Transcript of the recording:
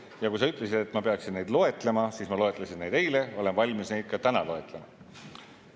Ja kui sa ütlesid, et ma peaksin neid loetlema, siis ma loetlesin neid eile ja olen valmis neid ka täna loetlema.